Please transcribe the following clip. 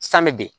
San mɛ bi